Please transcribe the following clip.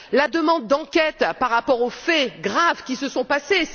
la demande d'enquête par rapport aux faits graves qui se sont passés.